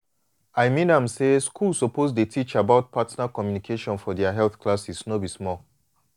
i mean am say schools suppose dey teach about partner communication for their health classes no be small.